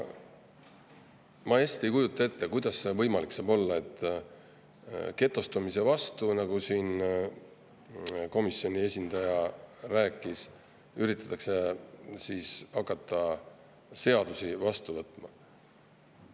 Ma hästi ei kujuta ette, kuidas see võimalik saab olla, et getostumise vastu, nagu siin komisjoni esindaja rääkis, üritatakse hakata seadusi vastu võtma.